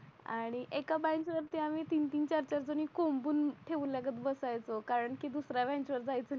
आणि एका बेंच वरती तीन तीन चार चार जणी कोणी कोंबून ठेवल्यागत बसायचो कारण की दुसऱ्या जायचा